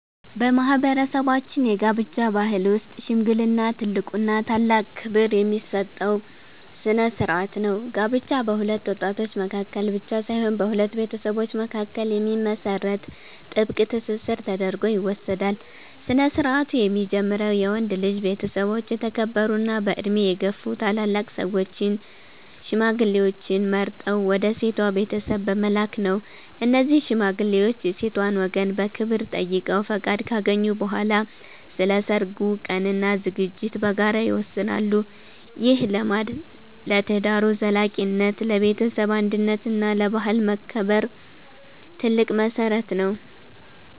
በማህበረሰባችን የጋብቻ ባህል ውስጥ "ሽምግልና" ትልቁና ታላቅ ክብር የሚሰጠው ስነ-ስርዓት ነው። ጋብቻ በሁለት ወጣቶች መካከል ብቻ ሳይሆን በሁለት ቤተሰቦች መካከል የሚመሰረት ጥብቅ ትስስር ተደርጎ ይወሰዳል። ስነ-ስርዓቱ የሚጀምረው የወንድ ልጅ ቤተሰቦች የተከበሩና በዕድሜ የገፉ ታላላቅ ሰዎችን (ሽማግሌዎችን) መርጠው ወደ ሴቷ ቤተሰብ በመላክ ነው። እነዚህ ሽማግሌዎች የሴቷን ወገን በክብር ጠይቀው ፈቃድ ካገኙ በኋላ፣ ስለ ሰርጉ ቀንና ዝግጅት በጋራ ይወስናሉ። ይህ ልማድ ለትዳሩ ዘላቂነት፣ ለቤተሰብ አንድነት እና ለባህል መከበር ትልቅ መሰረት ነው።